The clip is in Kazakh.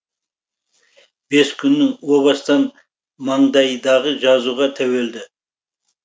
бес күннің о бастан маңдайдағы жазуға тәуелді